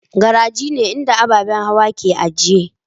Garaji ne inda ababen hawa ke a ajiye.